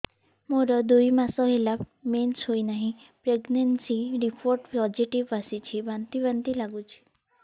ମୋର ଦୁଇ ମାସ ହେଲା ମେନ୍ସେସ ହୋଇନାହିଁ ପ୍ରେଗନେନସି ରିପୋର୍ଟ ପୋସିଟିଭ ଆସିଛି ବାନ୍ତି ବାନ୍ତି ଲଗୁଛି